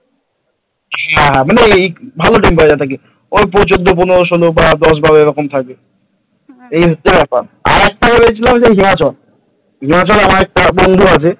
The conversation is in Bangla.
ওই চদহ পনেরো ষোলো বা দশ বারো এইরকম থাকে এই হচ্ছে ব্যাপার আর একটা বলেছিলাম হিমাচল হিমাচলে আমার একটা বন্ধু আছে ।